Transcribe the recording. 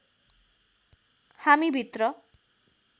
हामी भित्र